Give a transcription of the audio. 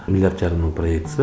миллиард жарым мың проектісі